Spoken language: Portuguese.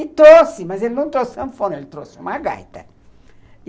E trouxe, mas ele não trouxe sanfona, ele trouxe uma gaita.